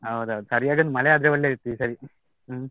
ಹೌದೌದು ಸರಿಯಾಗಿ ಮಳೆ ಬಂದ್ರೆ ಒಳ್ಳೆದಿತ್ತು ಈ ಸರಿ.